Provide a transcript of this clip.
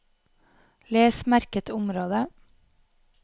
Les merket område